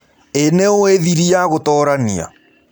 Ĩĩ nĩũĩ thĩrĩ ya gũtoranĩa?